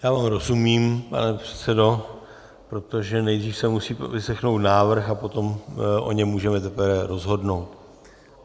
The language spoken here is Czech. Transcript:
Já vám rozumím, pane předsedo, protože nejdřív se musí vyslechnout návrh a potom o něm můžeme teprve rozhodnout.